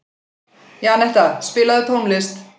Janetta, spilaðu tónlist.